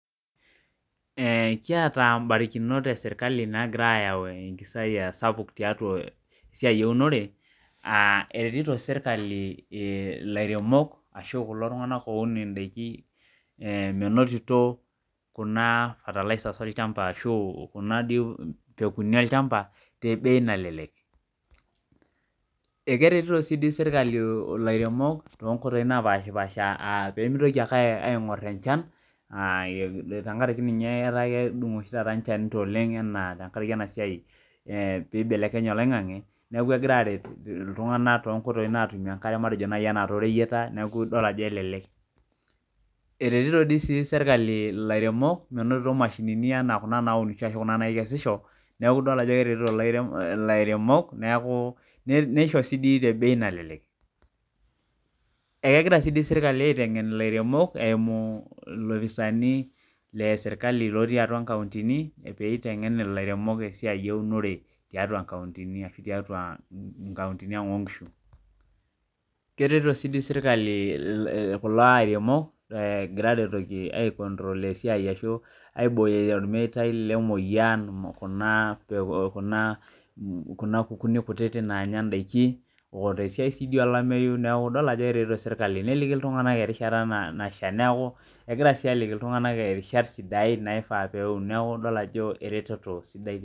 Ee kiata mbarikinok eserkali navira aayau mpisai kumok tesia enkiremore eretito serkali lairemok ashu kulo tunganak oun ndakin menotito kuna pekuni olchamba tebei nalelek akeritoto si serkali lairemok pemitoki aingur enchan amu kedungo oshi taata enchan oleng anaa anaa tenkaraki enasia peibelekenya oloingangi ltunganak tonkoitoi nashumie emkare anaa toreyieta neaku idol ajo elelek eretito si serkali lairemok minoto mashinini kuna nakesisho neaku idol ajo keretiti lairemok nisho tebei nalelek egira si serkali aisum lairemok eimu lofisani otii atua nkauntini peitengen lairemok tiatua nkauntini ashu tiatua nkauntini aang onkisu ,aibooyo ormetai lemoyian kuna kukuni kuti nanya ndakini otesiia olameyu idol ajo keretito serkali neaku idol ajo eretoto sidai